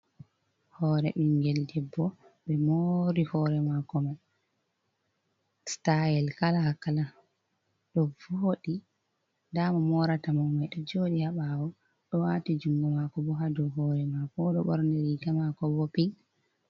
Hoore ɓingel debbo ɓe moori hoore maako mai sitayel kala kala ɗo vooɗi, nda mo moraata mo mai ɗo jooɗi ha ɓaawo ɗo waati jungo maako bo ha dou hoore maako oɗo ɓorni riiga maako bo pin.